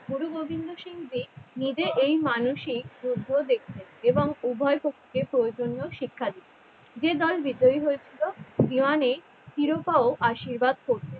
গুরু গোবিন্দ সিং যে নিজের এই মানসিক যুদ্ধ দেখতেন এবং উভয়পক্ষের প্রয়োজনীয় শিক্ষা দিতেন। যে দল বিজয় হয়ে যেত দেওয়ানি ও শিরোপা আশীর্বাদ করতো ।